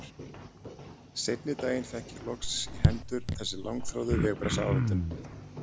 Seinni daginn fékk ég loks í hendur þessa langþráðu vegabréfsáritun.